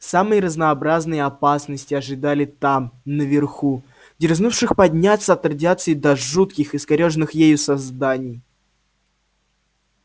самые разнообразные опасности ожидали там наверху дерзнувших подняться от радиации до жутких искорёженных ею созданий